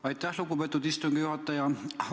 Aitäh, lugupeetud istungi juhataja!